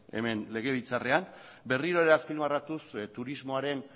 hemen legebiltzarrean berriro ere azpimarratuz turismoaren